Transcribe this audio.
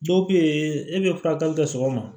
Dɔw bɛ yen e bɛ furakɛli kɛ sɔgɔma